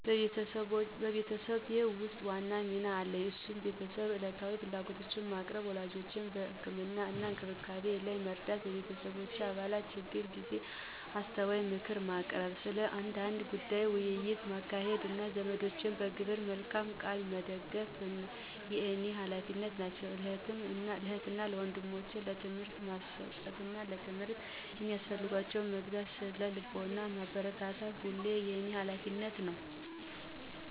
በቤተሰቤ ውስጥ ዋና ሚና አለኝ እነሱም የቤተሰቡን ዕለታዊ ፍላጎቶች ማቅረብ፣ ወላጆቼን በህክምና እና እንክብካቤ ላይ መርዳት፣ በቤተሰብ አባላት የችግር ጊዜ አስተዋይ ምክር ማቅረብ፣ ስለ አንዳንድ ጉዳዮች ውይይት ማካሄድ፣ እና ዘመዶቼን በግብረ መልካም ቃል መደግፍ የኔ ሀላፊነት ናቸው። ለእህት እና ወንድሞቸም ትምህርታቸውን ማስጠናት፣ ለትምህርት የሚያስፈልጋቸውን መግዛት፣ በስነ ልቦና ማበረታታት ሁሉ የኔ ሀላፊነት ነው።